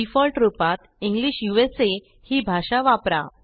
default रूपात English ही भाषा वापरा